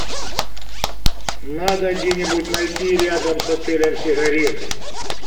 надо где нибудь найти рядом с отелем сигареты